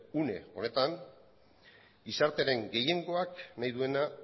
une honetan gizartearen gehiengoak nahi duena